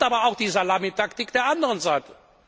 Es gibt aber auch die Salamitaktik der anderen Seite.